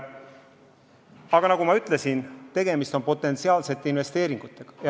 Aga nagu ma ütlesin, tegemist on potentsiaalsete investeeringutega.